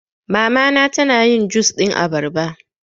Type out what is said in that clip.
Mama na ta na yin jus ɗin abarba